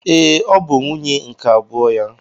Ee, ọ bụ nwunye nke abụọ ya.